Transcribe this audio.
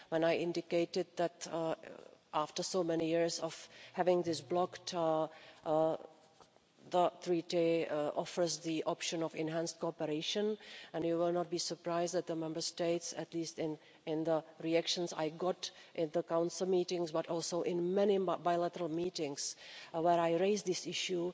When I indicated that after so many years of having this blocked, the Treaty offers the option of enhanced cooperation, you will not be surprised that the Member States at least in the reactions I got in the Council meetings, but also in many bilateral meetings where I raised this issue